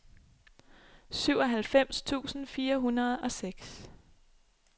syvoghalvfems tusind fire hundrede og seks